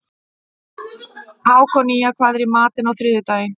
Hákonía, hvað er í matinn á þriðjudaginn?